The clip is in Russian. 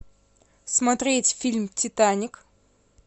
смотреть фильм титаник